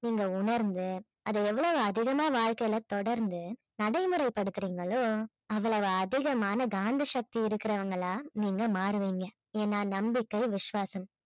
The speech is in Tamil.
நீங்க உணர்ந்து அதை எவ்வளவு அதிகமா வாழ்க்கையில தொடர்ந்து நடைமுறை படுத்துறீங்களோ அவ்வளவு அதிகமான காந்த சக்தி இருக்கிறவங்களா நீங்க மாறுவீங்க ஏன்னா நம்பிக்கை விசுவாசம்